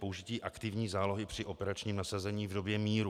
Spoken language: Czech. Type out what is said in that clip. Použití aktivní zálohy při operačním nasazení v době míru.